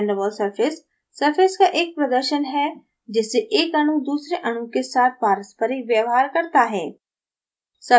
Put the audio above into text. van der waals surface surface का एक प्रदर्शन है जिससे एक अणु दूसरे अणु के साथ पारस्परिक व्यवहार करता है